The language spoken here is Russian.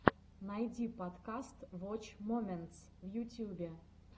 найди подкаст воч моментс в ютьюбе